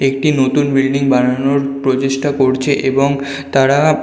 একটি নতুন বিল্ডিং বানানোর প্রচেষ্টা করছে এবং তাঁরা--